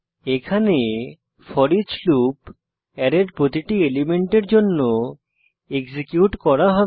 এখানে foreach loop অ্যারের প্রতিটি এলিমেন্টের জন্য এক্সিকিউট করা হবে